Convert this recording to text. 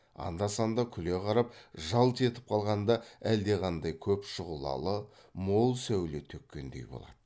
анда санда күле қарап жалт етіп қалғанда әлдеқандай көп шұғлалы мол сәуле төккендей болады